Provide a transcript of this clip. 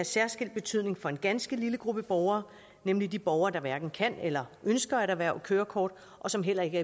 særskilt betydning for en ganske lille gruppe borgere nemlig de borgere der hverken kan eller ønsker at erhverve kørekort og som heller ikke